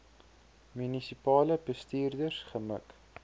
munisipale bestuurders gemik